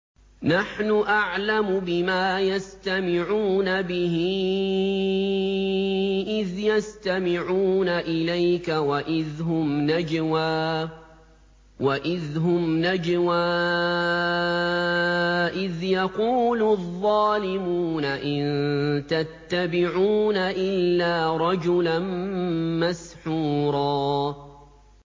نَّحْنُ أَعْلَمُ بِمَا يَسْتَمِعُونَ بِهِ إِذْ يَسْتَمِعُونَ إِلَيْكَ وَإِذْ هُمْ نَجْوَىٰ إِذْ يَقُولُ الظَّالِمُونَ إِن تَتَّبِعُونَ إِلَّا رَجُلًا مَّسْحُورًا